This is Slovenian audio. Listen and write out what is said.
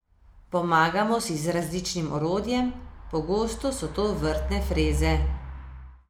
Pomagamo si z različnim orodjem, pogosto so to vrtne freze.